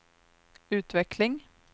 utveckling